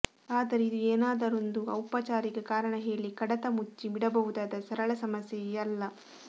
ಆದರೆ ಇದು ಏನಾದರೊಂದು ಔಪಚಾರಿಕ ಕಾರಣಹೇಳಿ ಕಡತ ಮುಚ್ಚಿ ಬಿಡಬಹುದಾದ ಸರಳ ಸಮಸ್ಯೆ ಅಲ್ಲ